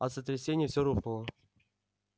от сотрясения все рухнуло